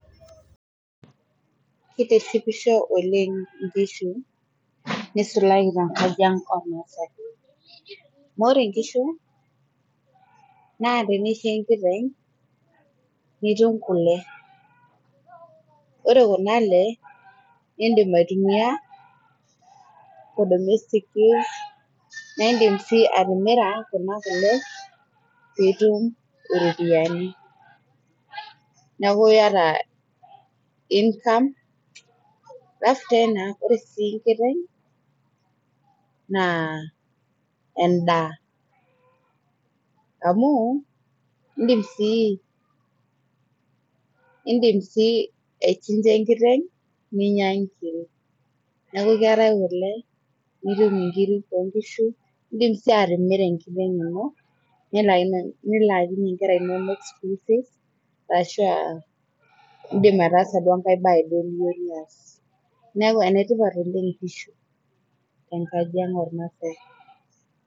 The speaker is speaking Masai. keitishipo oleng' inkishu neisulaki enkaji ang oo ilmaasae. ore inkishu naa teneisho enkiteng' nitum kule, ore kuna le indim aitumia [for domestic use naa indim sii atimira kuna kule pee itum iropiyiani. neaku iata income, alafu tena ore sii enkieng' naa endaa amuu indim sii aichinja ekiteng' ninya inkiri neaku keetae kule nitum nkiri oo nkishu. indim sii atimira enkiteng' ino nilaakinye nkera inonok school fees arashu indim ataasa enkae bae niyieu duo nias. neaku enetipat oleng inkishu tenkaji oo ilmaasae.